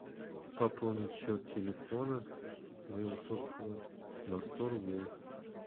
пополнить счет телефона моего собственного на сто рублей